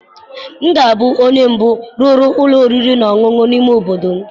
M ga-abụ onye mbụ rụrụ ụlọ oriri na ọṅụṅụ n'ime obodo m